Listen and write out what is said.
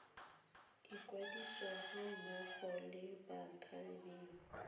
ikwadisa ga mmogo le bathapiwa